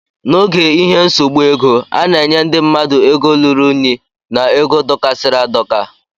N' ógè ihe nsogbu ego, ana enye ndị mmadụ ego lụrụ ụnyi na égo dokasiri adoka.